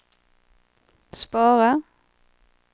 spara